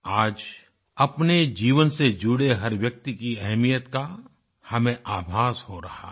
आज अपने जीवन से जुड़े हर व्यक्ति की अहमियत का हमें आभास हो रहा है